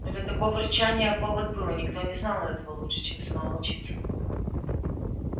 но для такого рычания повод был и никто не знал этого лучше чем сама волчица